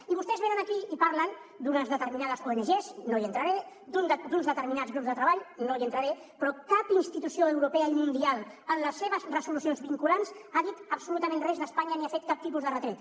i vostès venen aquí i parlen d’unes determinades ongs no hi entraré d’uns determinats grups de treball no hi entraré però cap institució europea i mundial en les seves resolucions vinculants ha dit absolutament res d’espanya ni ha fet cap tipus de retret